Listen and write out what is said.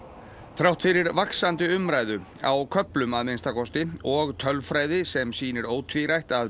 þrátt fyrir vaxandi umræðu á köflum að minnsta kosti og tölfræði sem sýnir ótvírætt að